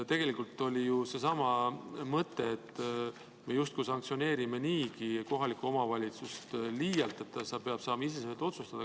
Tegelikult oli siin seesama mõte, et me justkui sanktsioneerime niigi kohalikku omavalitsust liialt, ta peaks saama iseseisvalt otsustada.